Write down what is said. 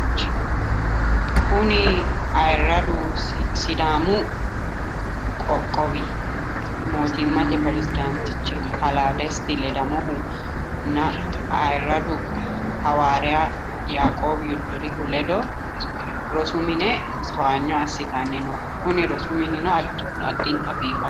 Kuni ayyradu sidaamu qoqqowi mootimmate piresidaantichi kalaa desita ledamohunna ayyradu hawaariya yaaqoobi yoddorihu ledo rosu mine towaanyo assitanni no kuni rosu minino addintanni biifanno.